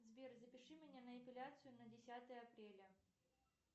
сбер запиши меня на эпиляцию на десятое апреля